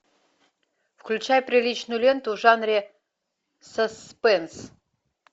включай приличную ленту в жанре саспенс